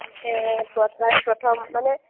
এৰ first প্ৰথম মানে